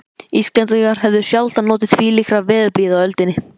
Íslendingar höfðu sjaldan notið þvílíkrar veðurblíðu á öldinni.